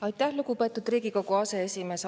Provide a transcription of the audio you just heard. Aitäh, lugupeetud Riigikogu aseesimees!